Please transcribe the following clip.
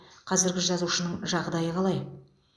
қазіргі жазушының жағдайы қалай